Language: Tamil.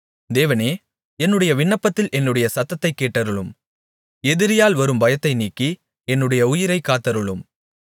தேவனே என்னுடைய விண்ணப்பத்தில் என்னுடைய சத்தத்தைக் கேட்டருளும் எதிரியால் வரும் பயத்தை நீக்கி என்னுடைய உயிரை காத்தருளும்